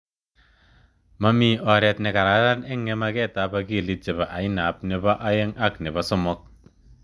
Mamii oret ne kararan ing ngemaket ap akilit chebo ainap nepo aeng ak nepo somok.